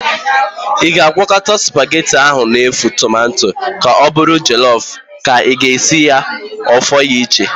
Ị ga-agwakọta spagheti ahu n'ofe tomato ka ọ bụrụ jọlọf ka i ga-esi ofe ya iche?